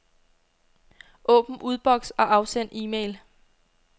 Åbn udboks og afsend e-mail.